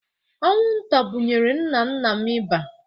Anwụnta bụnyere nna nna m ịba